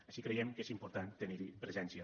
així creiem que és important tenir hi presència